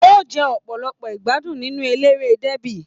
O jẹ ọpọlọpọ igbadun nínú eléré débi.